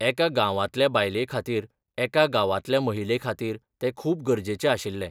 एका गांवांतल्या बायले खातीर एका गांवांतल्या महिले खातीर तें खूब गरजेचें आशिल्लें.